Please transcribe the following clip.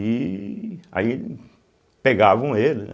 E aí pegavam ele, né.